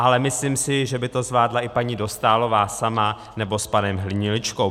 Ale myslím si, že by to zvládla i paní Dostálová sama nebo s panem Hniličkou.